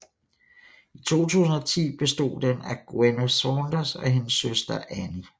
I 2010 bestod den af Gwenno Saunders og hendes søster Ani